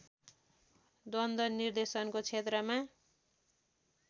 द्वन्द निर्देशनको क्षेत्रमा